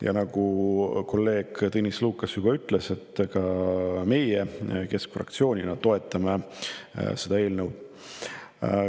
Ja nagu kolleeg Tõnis Lukas, toetame ka meie keskfraktsioonina seda eelnõu.